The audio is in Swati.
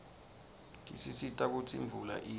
tisisita kutsi imvula ine